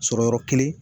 Sɔrɔ yɔrɔ kelen